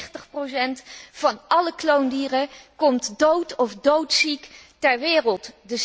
93 van alle kloondieren komt dood of doodziek ter wereld.